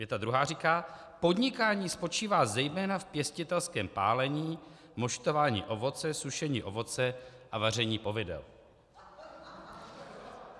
Věta druhá říká: Podnikání spočívá zejména v pěstitelském pálení, moštování ovoce, sušení ovoce a vaření povidel.